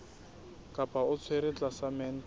kapa o tshwerwe tlasa mental